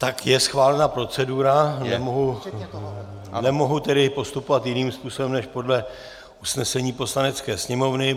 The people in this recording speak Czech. Tak je schválena procedura, nemohu tedy postupovat jiným způsobem než podle usnesení Poslanecké sněmovny.